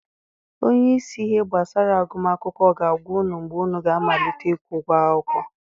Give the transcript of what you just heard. Onye isi ihe gbasara agụm akwụkwọ ga-agwa unu mgbe unu ga-amalite ịkwụ ụgwọ akwụkwọ.